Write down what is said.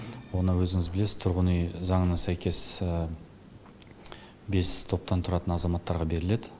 оны өзіңіз білесіз тұрғын үй заңына сәйкес бес топтан тұратын азаматтарға беріледі